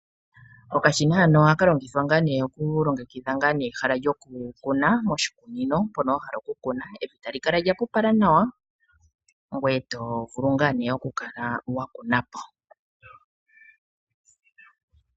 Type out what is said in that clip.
Okashina hano ohakalongithwa ngaa nee okulongekitha nga nee ehala lyokukuna moshikunino mpoka wahala okukuna. Evi talyikala lyahapupala nawa ngwee tovulu ngaa nee okukala wakunapo.